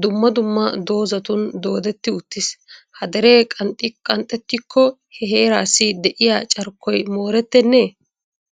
dumma dumma doozatun doodeti uttiis. Ha dere qanxxetiko he heerassi de'iyaa carkkoy morettenne?